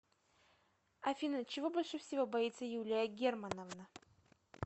афина чего больше всего боится юлия германовна